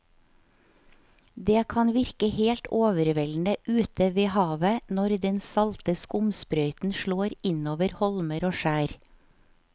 Det kan virke helt overveldende ute ved havet når den salte skumsprøyten slår innover holmer og skjær.